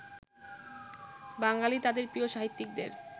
বাঙালি তাঁদের প্রিয় সাহিত্যিকদের